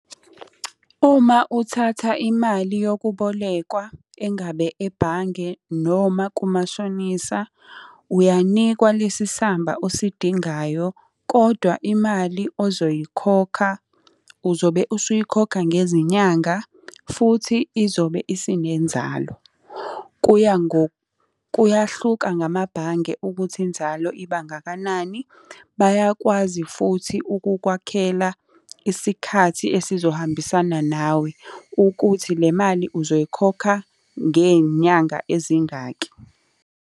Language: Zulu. Uma uthatha imali yokubolekwa, engabe ebhange, noma kumashonisa, uyanikwa lesi samba osidingayo, kodwa imali ozoyikhokha uzobe usuyikhokha ngezinyanga futhi izobe isinenzalo. Kuya kuyahluka ngamabhange ukuthi inzalo ibangakanani. Bayakwazi futhi ukukwakhela isikhathi esizohambisana nawe ukuthi le mali uzoyikhokha ngey'nyanga ezingaki.